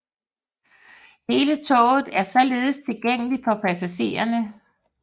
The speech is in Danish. Hele toget er således tilgængeligt for passagererne